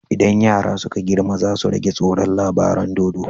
Idan yara suka girma zasu rage tsoron labaran dodo